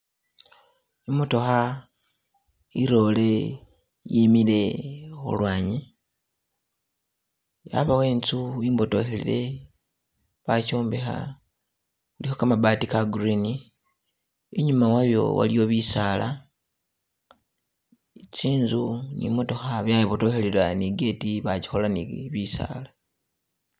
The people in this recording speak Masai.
I'motokha i lory imile khulwanyi yabawo inzu imbotokhelele bakyombekha, ilikho kamabati ka green , inyuma wayo iliyo bisala, tsinzu ni motokha bya ibodtokhelela ni gate bakikhola ne bisala.